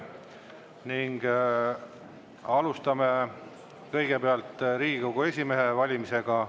Ning alustame kõigepealt Riigikogu esimehe valimisega.